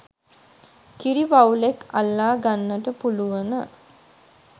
කිරි වවුලෙක් අල්ලා ගන්නට පුළුවන